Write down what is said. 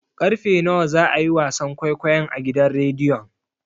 Karfe nawa za a yi wasan kwaikwayon a gidan rediyon?